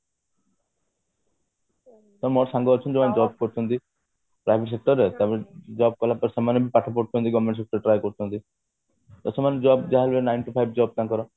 ମୋ ସାଙ୍ଗ ଅଛନ୍ତି ଯେଉଁମାନେ job କରୁଛନ୍ତି job କଲା ପରେ ସେମାନେ ବି ପାଠ ପଢୁଛନ୍ତି government sector ରେ try କରୁଛନ୍ତି ତ ସେମାନେ job ଯାହାବି ହେଲେ nine to five job ତାଙ୍କର